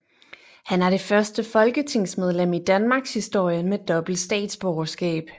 Han er det første folketingsmedlem i Danmarkshistorien med dobbelt statsborgerskab